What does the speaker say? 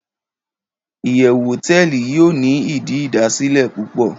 iyewu hoteeli yio ni idi idasile pupo